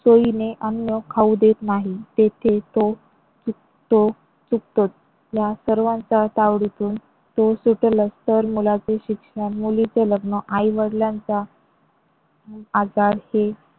सोईने अन्न खाऊ देत नाही तेथे तो चुकतो चुकतोच. या सर्वांचा तावडीतून तो सुटेलच तर मुलांचे शिक्षण, मुलीचे लग्न, आई वडिलांचा आजार